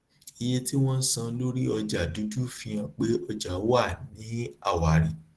iye tí wọn ń san lórí ọjà dúdú fi hàn pé ọjà wà ní àwárí